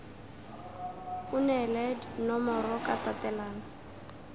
o neele nomoro ka tatelano